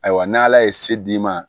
Ayiwa n'ala ye se d'i ma